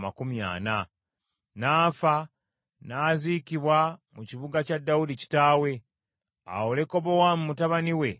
N’afa n’aziikibwa mu kibuga kya Dawudi kitaawe. Awo Lekobowaamu mutabani we n’amusikira.